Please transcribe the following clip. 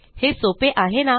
हे सोपे आहे ना